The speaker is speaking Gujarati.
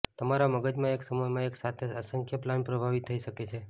તમારા મગજમાં એક સમયમાં એક સાથે અસંખ્ય પ્લાન પ્રભાવી થઈ શકે છે